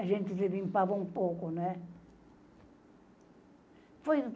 A gente se limpava um pouco, né? Foi